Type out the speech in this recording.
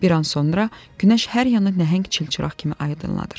Bir an sonra günəş hər yanı nəhəng çilçıraq kimi aydınladır.